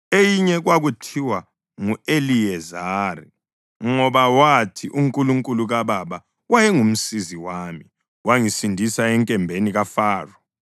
Eyinye kwakuthiwa ngu-Eliyezari ngoba wathi, “UNkulunkulu kababa wayengumsizi wami: wangisindisa enkembeni kaFaro.”